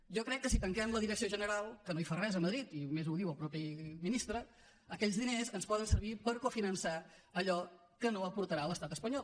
jo crec que si tanquem la direcció general que no hi fa res a madrid i a més ho ha dit el mateix ministre aquells diners ens poden servir per cofinançar allò que no aportarà l’estat espanyol